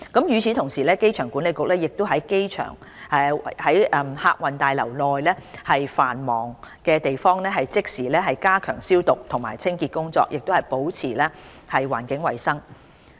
與此同時，機場管理局亦已於客運大樓內繁忙的地方即時加強消毒及清潔工作，保持環境衞生。